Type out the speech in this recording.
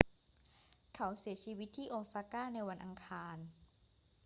เขาเสียชีวิตที่โอซาก้าในวันอังคาร